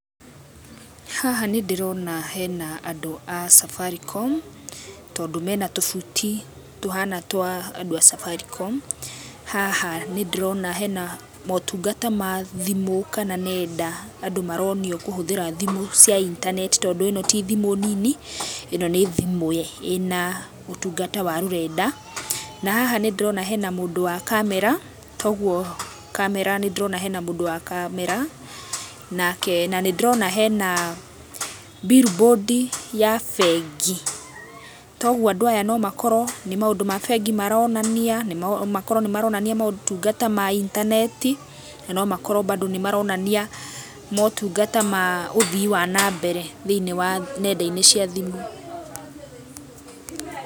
Haha nĩndĩrona hena andũ a Safaricom, tondũ mena tũbuti tũhana twa andũ a Safaricom. Haha nĩndĩrona hena motungata ma thimũ kana nenda, andũ maronio kũhũthĩra thimũ cia internet tondũ ĩno ti thimũ nini, ĩ no nĩ thimũ ĩna ũtungata wa rũrenda. Na haha nĩndĩrona hena mũndũ wa kamera toguo, nĩndĩrona hena mũndũ wa kamera. Na nĩndĩrona hena billboard ya bengi toguo andũ aya no makorwo nĩ maũndũ ma bengi maronania, no makorwo maronania motungata ma intaneti na no makorwo bado nĩmaronania motungata ma ũthii wa na mbere thĩiniĩ wa nenda-inĩ cia thimũ.